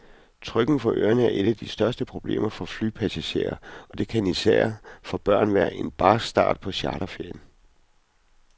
Trykken for ørerne er et af de største problemer for flypassagerer, og det kan især for børn være en barsk start på charterferien.